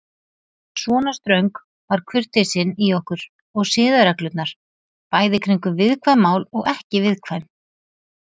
Svona ströng var kurteisin í okkur og siðareglurnar, bæði kringum viðkvæm mál og ekki viðkvæm.